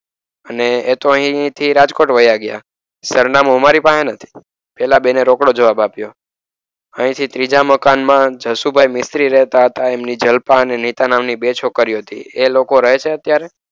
અને એ તો અહીંથી રાજકોટ વાયા ગયા. સરનામું અમારી પાસે નથી. પેલા બે ને રોકડો જવાબ આપ્યો. અહીંથી ત્રીજા મકાનમાં જશુભાઈ મિસ્ત્રી રહેતા હતા. એમની જલ્પા અને નીતા નામની છોકરીઓ હતી. એ લોકો રહે છે અત્યારે?